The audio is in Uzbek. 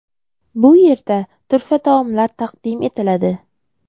Bu yerda turfa taomlar taqdim etiladi.